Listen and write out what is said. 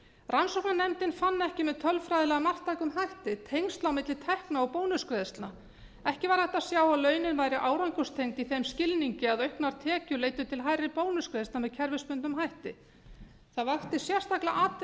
rannsóknarnefndin fann ekki með tölfræðilega marktækum hætti tengsl á milli tekna og bónusgreiðslna ekki var hægt að sjá að launin væru árangurstengd í þeim skilningi að hærri tekjur leiddu til hærri bónusgreiðslna með kerfisbundnum hætti það vakti sérstaklega